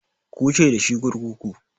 Ku wuce da shi kurkuku!